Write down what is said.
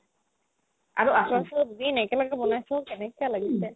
আৰু আচাৰ চাচাৰ দিবি নে নাই কেনেকে বনাইছ কেনেকা লাগিছে